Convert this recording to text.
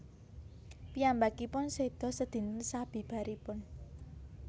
Piyambakipun seda sedinten sabibaripun